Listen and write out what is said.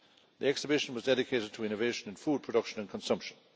The exhibition was dedicated to innovation in food production and consumption.